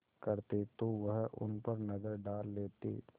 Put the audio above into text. करते तो वह उन पर नज़र डाल लेते